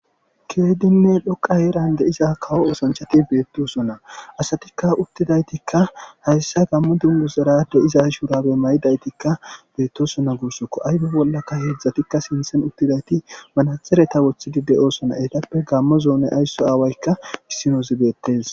keydinne dhoqa heerande iza kawo oosanchati beettosona asatikka uttidaytikka hayssa gammu dungu sera de iza shuurabe maydaytikka beettosona guussokko aybe bollaka heedzdzatikka sinthen uttidayti manaxereta woththidi de7oosona eetappe gammo zoone aysso aawaykka issinozi beettes